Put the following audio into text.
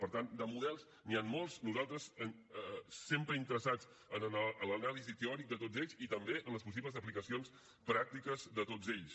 per tant de models n’hi han molts nosaltres sempre interessats en l’anàlisi teòrica de tots ells i també en les possibles aplicacions pràctiques de tots ells